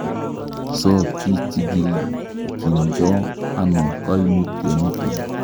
So kichilkildo ono koimutyoniton?